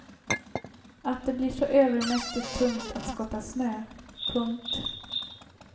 Att det blir så övermäktigt tungt att skotta snö. punkt